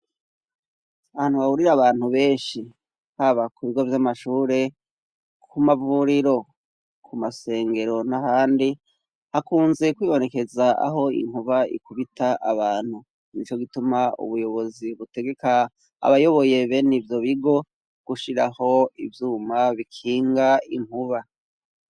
Ahantu hahurira abantu benshi haba ku bigo vy'amashure, ku mavuriro, ku masengero, n'ahandi, hakunze kwibonekeza aho inkuba ikubita abantu, nico gituma ubuyobozi butegeka abayoboye bene ivyo bigo gushiraho ivyuma bikinga inkuba.